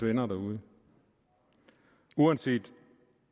venner derude uanset